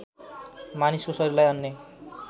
मानिसको शरीरलाई अन्य